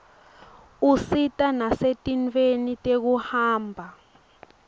usita nasetintfweni tekuhamba